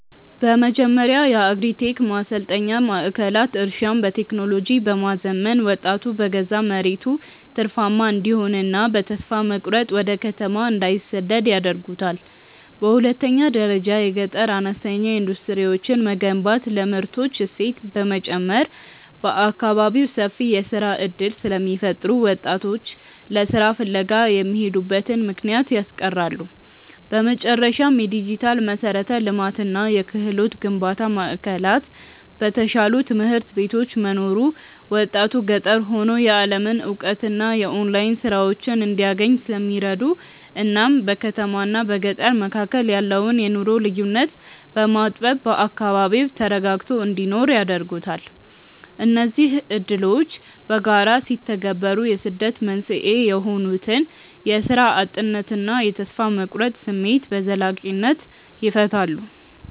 በመጀመሪያ የአግሪ-ቴክ ማሰልጠኛ ማዕከላት እርሻን በቴክኖሎጂ በማዘመን ወጣቱ በገዛ መሬቱ ትርፋማ እንዲሆንና በተስፋ መቁረጥ ወደ ከተማ እንዳይሰደድ ያደርጉታል። በሁለተኛ ደረጃ የገጠር አነስተኛ ኢንዱስትሪዎችን መገንባት ለምርቶች እሴት በመጨመር በአካባቢው ሰፊ የሥራ ዕድል ስለሚፈጥሩ ወጣቶች ለሥራ ፍለጋ የሚሄዱበትን ምክንያት ያስቀራሉ። በመጨረሻም፣ የዲጂታል መሠረተ ልማትና የክህሎት ግንባታ ማዕከላት በተሻሉ ትምህርት ቤቶች መኖሩ ወጣቱ ገጠር ሆኖ የዓለምን እውቀትና የኦንላይን ሥራዎችን እንዲያገኝ ስለሚረዱት እናም በከተማና በገጠር መካከል ያለውን የኑሮ ልዩነት በማጥበብ በአካባቢው ተረጋግቶ እንዲኖር ያደርጉታል። እነዚህ ዕድሎች በጋራ ሲተገበሩ የስደት መንስኤ የሆኑትን የሥራ እጥነትና የተስፋ መቁረጥ ስሜት በዘላቂነት ይፈታሉ።